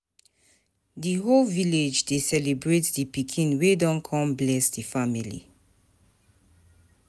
The whole village dey celebrate the pikin wey don come bless the family.